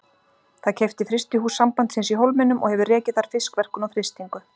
Það keypti frystihús Sambandsins í Hólminum og hefur rekið þar fiskverkun og frystingu.